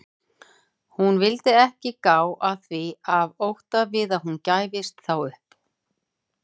Hún vildi ekki gá að því af ótta við að hún gæfist þá upp.